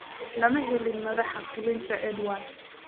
Lama hadlin madaxa fulinta Ed Woodward.